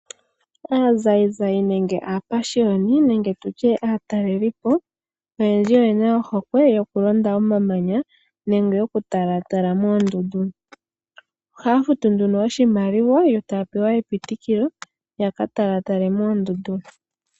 Aazayizayi nenge aapashiyoni nenge tu tye aatalelelipo oyendji oye na ohokwe yokulonda omamanya nenge yokutalatala moondundu. Ohaya futu nduno oshimaliwa yo taya pewa epitikilo ya ka talaatale moondundu.